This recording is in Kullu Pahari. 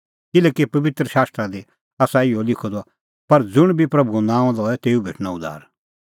किल्हैकि पबित्र शास्त्रा दी आसा इहअ लिखअ द पर ज़ुंण बी प्रभूओ नांअ लए तेऊ भेटणअ उद्धार